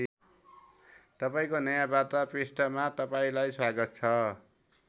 तपाईँको नयाँ वार्ता पृष्ठमा तपाईँलाई स्वागत छ।